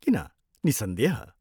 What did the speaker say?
किन, निस्सन्देह।